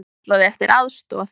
Hann kallaði eftir aðstoð.